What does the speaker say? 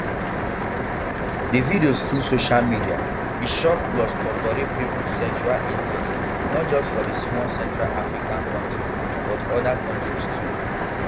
di videos full social media e shock plus totori pipo sexual interest not just for di small central african kontri but oda kontris too